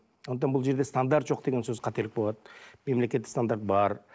сондықтан бұл жерде стандарт жоқ деген сөз қателік болады мемлекеттік стандарт бар